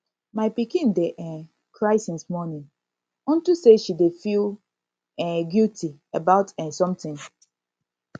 my pikin dey um cry since morning unto say she dey feel um guilty about um something